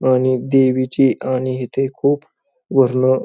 आणि देवीची आणि इथे खूप वरनं --